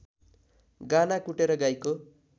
गाना कुटेर गाईको